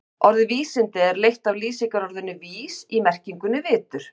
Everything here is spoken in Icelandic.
Orðið vísindi er leitt af lýsingarorðinu vís í merkingunni vitur.